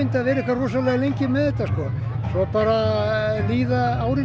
að vera svona lengi svo bara líða árin og